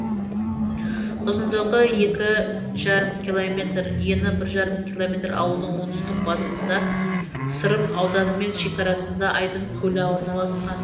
ұзындығы екі жарым километр ені бір ждарым километр ауылдың оңтүстік батысында сырым ауданымен шекарасында айдын көлі орналасқан